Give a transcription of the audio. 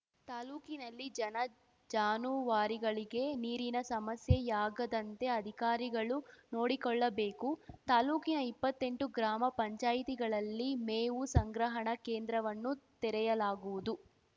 ತಾಲೂಕಿನಲ್ಲಿ ಜನಜಾನುವಾರಿಗಳಿಗೆ ನೀರಿನ ಸಮಸ್ಯೆಯಾಗದಂತೆ ಅಧಿಕಾರಿಗಳು ನೋಡಿಕೊಳ್ಳಬೇಕು ತಾಲೂಕಿನ ಇಪ್ಪತ್ತೆಂಟು ಗ್ರಾಮ ಪಂಚಾಯತಿಗಳಲ್ಲಿ ಮೇವು ಸಂಗ್ರಹಣ ಕೇಂದ್ರವನ್ನು ತೆರೆಯಲಾಗುವುದು